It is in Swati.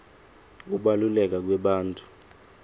kubaluleka kwebantfu